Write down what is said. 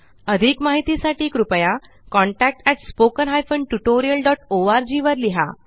अधिक माहिती साठी कृपया contactspoken tutorialorg वर लिहा